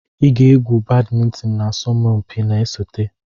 Ị ga-egwu badimintin na asọmpi na-esote!